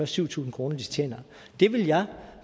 syv tusind kr de tjener det vil jeg